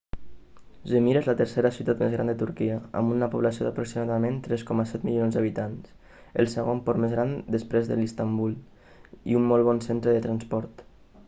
?zmir és la tercera ciutat més gran de turquia amb una població d'aproximadament 3,7 milions d'habitants el segon port més gran després del d'istanbul i un molt bon centre de transport